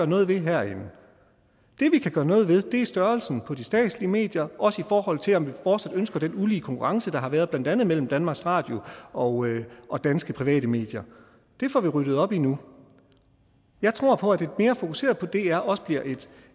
noget ved herinde det vi kan gøre noget ved er størrelsen på de statslige medier også i forhold til om vi fortsat ønsker den ulige konkurrence der har været blandt andet mellem danmarks radio og og danske private medier det får vi ryddet op i nu jeg tror på at et mere fokuseret dr også bliver